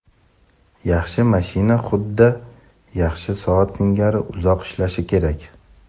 Yaxshi mashina xuddi yaxshi soat singari uzoq ishlashi kerak.